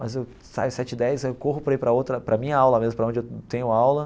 Mas eu saio as sete e dez saio aí eu corro para ir para outra, para minha aula mesmo, para onde eu tenho aula.